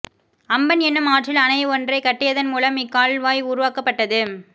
Amphan எனும் ஆற்றில் அணை ஒன்றைக் கட்டியதன் மூலம் இக்கால்வாய் உருவாக்கப்பட்டது